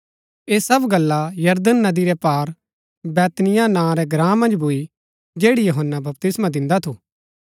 ऐह सब गल्ला यरदन नदी रै पार बैतनिय्याह नां रै ग्राँ मन्ज भूई जैड़ी यूहन्‍ना बपतिस्मा दिन्दा थू